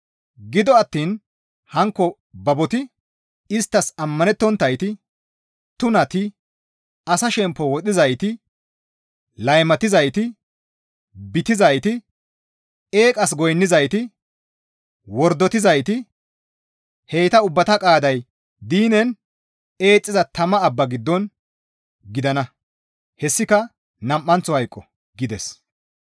Gido attiin hankko baboti, isttas ammanettonttayti, tunati, asa shemppo wodhizayti, laymatizayti, bitizayti, eeqas goynnizayti, wordotizayti, heyta ubbata qaaday diinen eexxiza tama abbaa giddon gidana; hessika nam7anththo hayqo» gides.